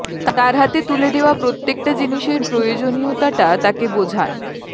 তার হাতে তুলে দেওয়া প্রত্যেকটা জিনিসের প্রয়োজনীয়তাটা তাকে বোঝান